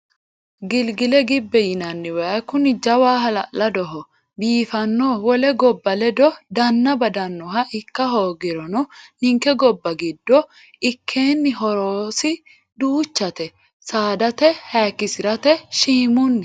Gilgile gibbe yinanni waayi kuni jawa halaladoho biifano wole gobba ledo danna badanoha ikka hoogirono ninke gobba giddo ikkenni horosi duuchate saadate hayikkisirate shiimunni.